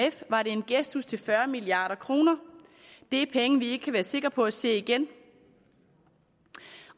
var det en gestus til fyrre milliard kroner det er penge vi ikke kan være sikre på at se igen